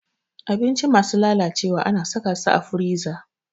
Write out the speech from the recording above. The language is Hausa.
Abinci masu lalacewa ana saka su a firiza